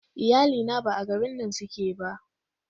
Iyalina ba a garin nan suke ba.